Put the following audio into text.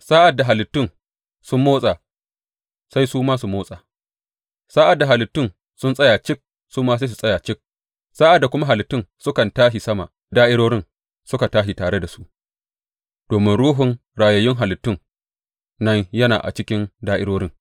Sa’ad da halittun sun motsa, sai su ma su motsa; sa’ad da halittun sun tsaya cik, su ma sai su tsaya cik, sa’ad da kuma halittun sukan tashi sama, da’irorin suka tashi tare da su, domin ruhun rayayyun halittun nan yana a cikin da’irorin.